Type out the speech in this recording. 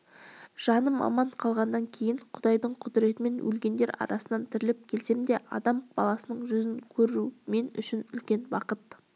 жаным аман қалғаннан кейін құдайдың құдіретімен өлгендер арасынан тіріліп келсем де адам баласының жүзін көру мен үшін үлкен бақыт